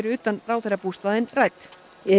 utan ráðherrabústaðinn rædd